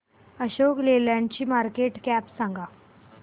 Ashok Leyland ची market cap सांगा